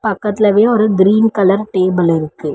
பக்கத்திலவே ஒரு green colour table இருக்கு.